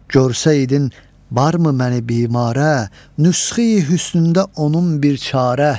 Görsəydin varmı məni bimare, nüsxə-i hüsnündə onun bir çarə?